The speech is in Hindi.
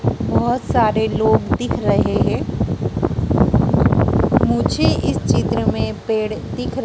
बहोत सारे लोग दिख रहे हैं मुझे इस चित्र में पेड़ दिख र--